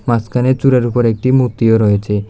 মাঝখানে চূড়ার উপর একটি মূর্তিও রয়েছে।